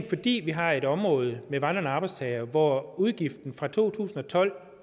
fordi vi har et område med vandrende arbejdstagere hvor udgiften fra to tusind og tolv